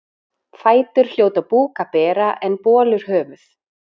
Fætur hljóta búk að bera en bolur höfuð.